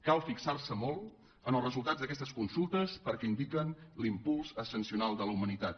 cal fixarse molt en els resultats d’aquestes consultes perquè indiquen l’impuls ascensional de la humanitat